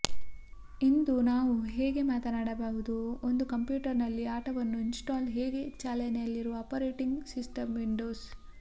ಇಂದು ನಾವು ಬಗ್ಗೆ ಮಾತನಾಡಬಹುದು ಒಂದು ಕಂಪ್ಯೂಟರ್ನಲ್ಲಿ ಆಟವನ್ನು ಇನ್ಸ್ಟಾಲ್ ಹೇಗೆ ಚಾಲನೆಯಲ್ಲಿರುವ ಆಪರೇಟಿಂಗ್ ಸಿಸ್ಟಂ ವಿಂಡೋಸ್